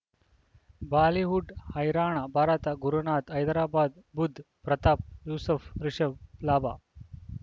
Bollywood ಹೈರಾಣ ಭಾರತ ಗುರುನಾಥ್ ಹೈದರಾಬಾದ್ ಬುಧ್ ಪ್ರತಾಪ್ ಯೂಸುಫ್ ರಿಷಬ್ ಲಾಭ